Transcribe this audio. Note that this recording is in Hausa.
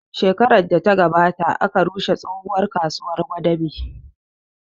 Shekarar da ya gabata aka rushe tsohon kasuwar gwadabe